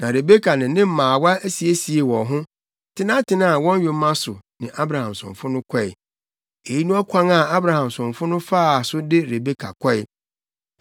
Na Rebeka ne ne mmaawa siesiee wɔn ho, tenatenaa wɔn yoma so ne Abraham somfo no kɔe. Eyi ne ɔkwan a Abraham somfo no faa so de Rebeka kɔe.